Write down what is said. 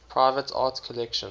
private art collections